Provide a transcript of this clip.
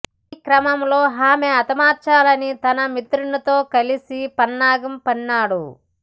ఈ క్రమంలో ఆమె హతమార్చాలని తన మిత్రుడితో కలిసి పన్నాగం పన్నాడు